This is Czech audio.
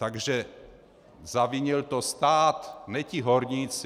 Takže zavinil to stát, ne ti horníci.